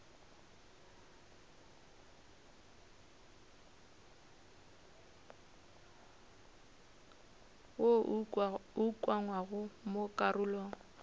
wo o ukangwego mo karolong